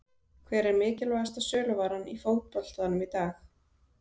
Hver er mikilvægasta söluvaran í fótboltanum í dag?